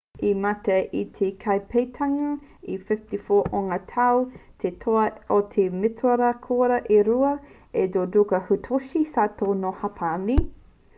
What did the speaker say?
i mate i te taipakeketanga e 54 ōna tau te toa o ngā mētara koura e rua a judoka hitoshi saito nō hāpani